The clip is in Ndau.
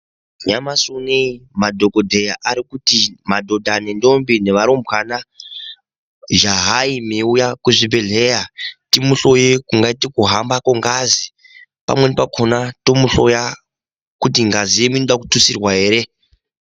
Nyamashi unowu madhokodheya Ari kuti ndombi nevarumbwana jaha unouya kuzvibhedhlera timuhloye kungaita kuhamba kwengazi pamweni pakona totohloya kuti ngazi inoda kututsirwa here.